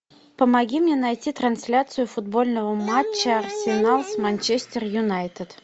помоги мне найти трансляцию футбольного матча арсенал с манчестер юнайтед